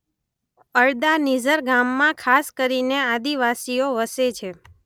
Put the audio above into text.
અડદા નિઝર ગામમાં ખાસ કરીને આદિવાસીઓ વસે છે.